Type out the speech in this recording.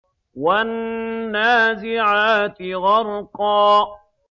وَالنَّازِعَاتِ غَرْقًا